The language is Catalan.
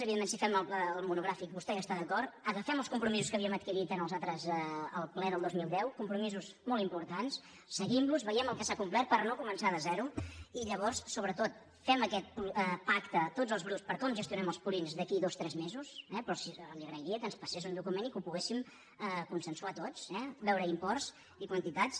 evidentment si fem el monogràfic i vostè hi està d’acord agafem els compromisos que havíem adquirit al ple del dos mil deu compromisos molt importants seguim los vegem el que s’ha complert per no començar de zero i llavors sobretot fem aquest pacte tots els grups per com gestionem els purins d’aquí a dos tres mesos però li agrairia que ens passés un document i que ho poguéssim consensuar tots veure imports i quantitats